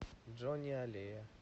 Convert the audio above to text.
джони аллея